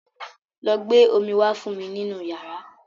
Lọ gbé omí wá fún mi nínú yàrá.